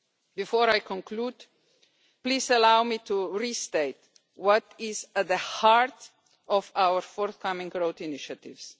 Before I conclude, please allow me to restate what is at the heart of our forthcoming road initiatives.